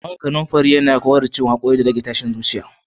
Man kananfari yana kawar da ciwon hakori, rage tashin zuciya